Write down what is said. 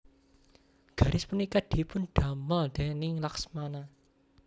Garis punika dipun damel déning Laksmana